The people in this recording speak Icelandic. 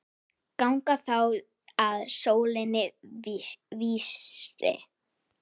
Ganga þá að sólinni vísri.